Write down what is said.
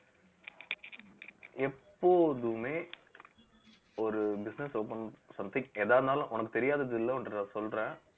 எப்போதுமே ஒரு business open something எதா இருந்தாலும் உனக்குத் தெரியாதது இல்ல ஒரு தடவ சொல்றேன்